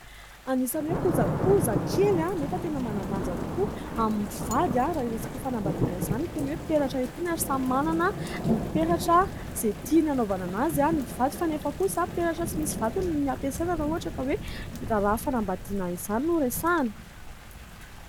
Anisany hoe kojakoja kely nefa tena manan-danja tokoa amin'ny mpivady raha resaka fanambadiana izany itony hoe : peratra itony ary samy manana ny peratra izay tiany hanaovana an'azy ny mpivady, fa nefa kosa peratra tsy misy vatony no hampiasaina raha ohatra ka hoe : raharaha fanambadiana izany no resahana.